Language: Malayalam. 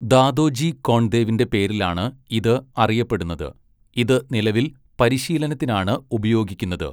ദാദോജി കോണ്ട്ദേവിന്റെ പേരിലാണ് ഇത് അറിയപ്പെടുന്നത്, ഇത് നിലവിൽ പരിശീലനത്തിനാണ് ഉപയോഗിക്കുന്നത്.